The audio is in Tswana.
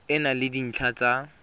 e na le dintlha tsa